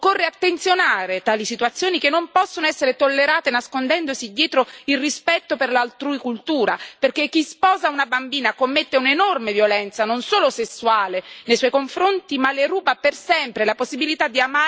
Occorre richiamare l'attenzione su tali situazioni, che non possono essere tollerate nascondendosi dietro il rispetto per l'altrui cultura, perché chi sposa una bambina commette un'enorme violenza, non solo sessuale, nei suoi confronti, ma le ruba per sempre la possibilità di amare e di vivere da donna libera.